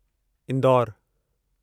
इंदौरु